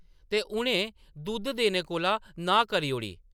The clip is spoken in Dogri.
ते उʼनें दुद्ध देने कोला नांह् करी ओड़ी ।